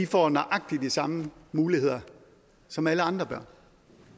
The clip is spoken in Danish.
får nøjagtig de samme muligheder som alle andre børn